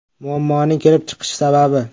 Muammoning kelib chiqish sababi?